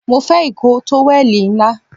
Mo fé ikoo towel ńlá